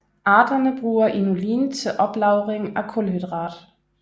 Arterne bruger inulin til oplagring af kulhydrat